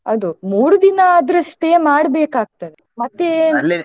ಅದು ಮೂರು ದಿನಾ ಆದ್ರೆ stay ಮಾಡ್ಬೇಕಾಗ್ತದೆ .